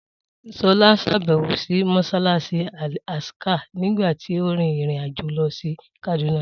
Sola ṣàbẹ̀wò sí Mọ́ṣáláṣí Al Aqsa nígbà tí ó rin ìrìn-àjò lọ sí Kaduna